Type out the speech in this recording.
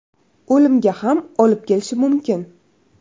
O‘limga ham olib kelishi mumkin.